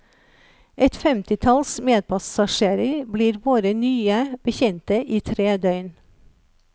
Et femtitalls medpassasjerer blir våre nye bekjente i tre døgn.